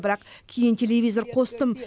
бірақ кейін телевизор қостым